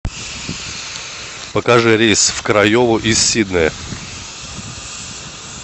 покажи рейс в крайову из сиднея